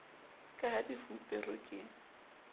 ka ha di fuperwe ke